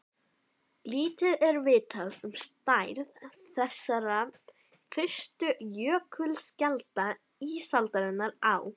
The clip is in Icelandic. Lítið er vitað um stærð þessara fyrstu jökulskjalda ísaldarinnar á